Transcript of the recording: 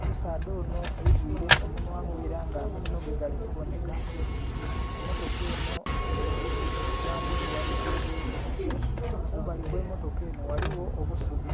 omusaadha onho egwire omunhwa gwe era nga amainho ge gali kubonheka emotoka enho eriku ekigambo "tourist vehicle" kumbali kwe motoka enho ghaligho obusubi.